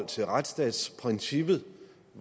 til retsstatsprincippet